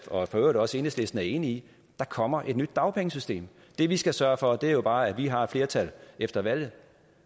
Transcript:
og i øvrigt også enhedslisten er enig i der kommer et nyt dagpengesystem det vi skal sørge for er jo bare at vi har flertallet efter valget